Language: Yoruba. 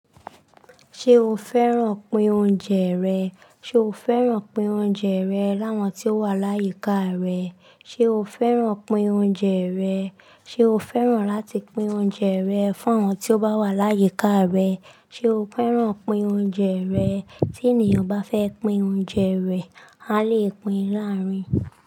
Ṣé o fẹ́ràn pin oúnjẹ rẹ̀? Ṣé o fẹ́ràn pin oúnjẹ rẹ̀ láwọn tí ó wà láyíká rẹ̀? Ṣé o fẹ́ràn pin oúnjẹ rẹ̀? Ṣé o fẹ́ràn láti pin oúnjẹ rẹ̀ fún àwọn tí ó bá wà láyíká rẹ̀? Ṣé o fẹ́ràn pin oúnjẹ rẹ̀? Tí ènìyàn bá fẹ́ pin oúnjẹ rẹ̀, a lè pín in láàrín.